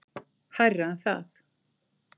Hærra en það.